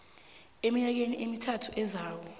eminyakeni emithathu ezako